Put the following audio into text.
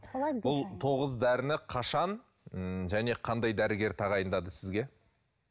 бұл тоғыз дәріні қашан ммм және қандай дәрігер тағайындады сізге